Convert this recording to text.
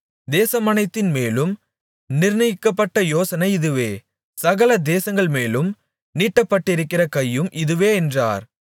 தேசமனைத்தின்மேலும் நிர்ணயிக்கப்பட்ட யோசனை இதுவே சகல தேசங்கள்மேலும் நீட்டப்பட்டிருக்கிற கையும் இதுவே என்றார்